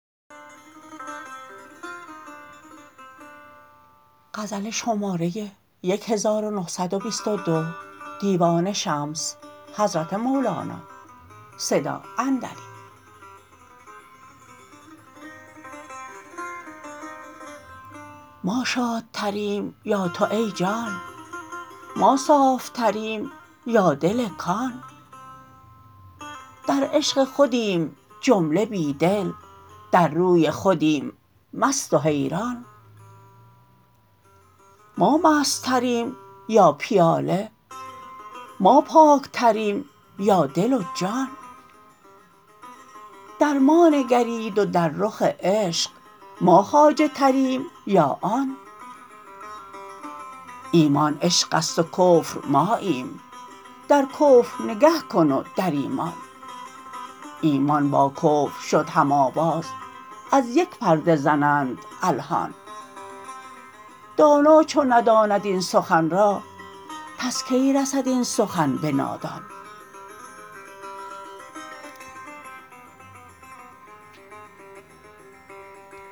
ما شادتریم یا تو ای جان ما صافتریم یا دل کان در عشق خودیم جمله بی دل در روی خودیم مست و حیران ما مستتریم یا پیاله ما پاکتریم یا دل و جان در ما نگرید و در رخ عشق ما خواجه عجبتریم یا آن ایمان عشق است و کفر ماییم در کفر نگه کن و در ایمان ایمان با کفر شد هم آواز از یک پرده زنند الحان دانا چو نداند این سخن را پس کی رسد این سخن به نادان